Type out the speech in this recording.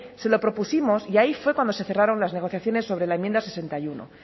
se lo propusimos y ahí fue cuando se cerraron las negociaciones sobre la enmienda sesenta y uno